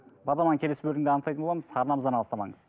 бағдарламаның келесі бөлімінде анықтайтын боламыз арнамыздан алыстамаңыз